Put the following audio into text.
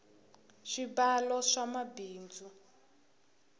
swibalo swa mabindzu